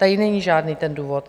Tady není žádný ten důvod.